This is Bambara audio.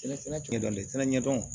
Sɛnɛ kɛ dɔn tɛnɛ ɲɛdɔn